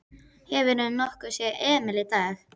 Hefurðu nokkuð séð Emil í dag?